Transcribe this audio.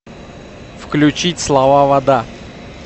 включить слова вода